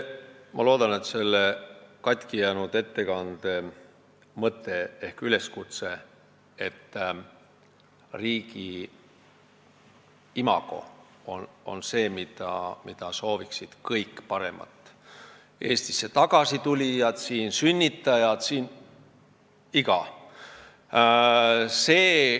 Ma loodan, et selle katkijäänud ettekande mõte ehk üleskutse jäi kõlama: paremat riigi imagot sooviksid kõik, nii Eestisse tagasi tulijad, siin sünnitajad jne.